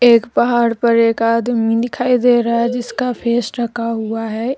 एक पहाड़ पर एक आदमी दिखाई दे रहा है जिसका फेस ढका हुआ है।